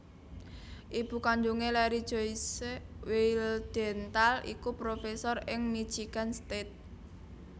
Ibu kandhungé Larry Joyce Wildhental iku profesor ing Michigan State